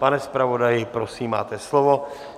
Pane zpravodaji, prosím, máte slovo.